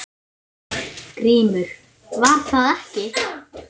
GRÍMUR: Var það ekki!